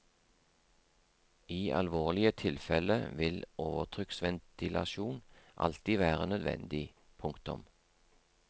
I alvorlige tilfelle vil overtrykksventilasjon alltid være nødvendig. punktum